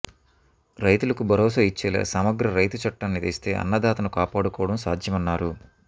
రైతులకు భరోసా ఇచ్చేలా సమగ్ర రైతు చట్టాన్ని తెస్తే అన్నదాతను కాపాడుకోవడం సాధ్యమన్నారు